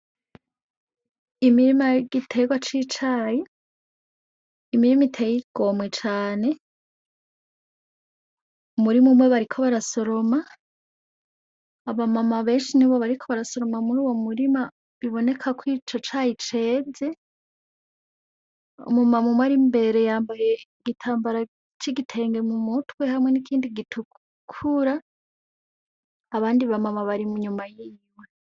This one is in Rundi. Imirima yigiterwa cicayi, imirima iteye igomwe cane, umurima umwe bariko barasoroma, aba mama benshi nibo bariko barasoroma muruwo murima biboneka ko ico cayi ceze, umu mama umwe ar'imbere yambaye igitambara c'igitenge mumutwe hamwe nikindi gitukura abandi ba mama bari inyuma yiwe.